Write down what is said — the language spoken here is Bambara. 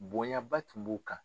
Bonyaba tun b'o kan